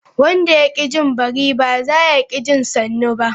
Wanda ya ki jin bari, ba zaya ki jin sannu ba.